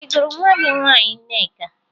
Ị gụrụ nwa gị nwaanyị Nneka?